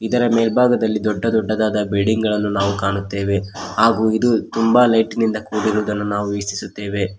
ಇದರ ಮೇಲ್ಭಾಗದಲ್ಲಿ ದೊಡ್ಡ ದೊಡ್ಡದಾದ ಬಿಲ್ಡಿಂಗ್ ಗಳನ್ನು ನಾವು ಕಾಣುತ್ತೇವೆ ಹಾಗು ಇದು ತುಂಬ ಲೈಟಿನಿಂದ ಕೂಡಿರುವುದನ್ನು ನಾವು ವೀಕ್ಷಿಸುತ್ತೇವೆ.